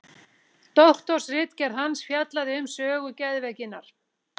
doktorsritgerð hans fjallaði um sögu geðveikinnar